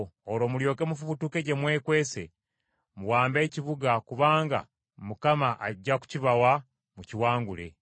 Olwo mulyoke mufubutuke gye mwekwese, muwambe ekibuga kubanga Mukama ajja kukibawa mukiwangule.